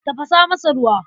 Tafasa masa ruwa.